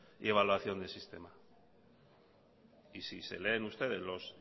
y evaluación de sistema y si se leen ustedes los